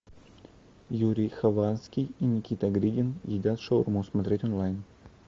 юрий хованский и никита гридин едят шаурму смотреть онлайн